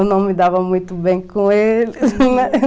Eu não me dava muito bem com ele, né?